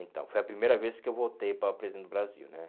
Então, foi a primeira vez que eu votei para presidente do Brasil, né?